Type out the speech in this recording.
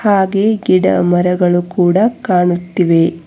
ಹಾಗೆ ಗಿಡ ಮರಗಳು ಕೂಡ ಕಾಣುತ್ತಿವೆ.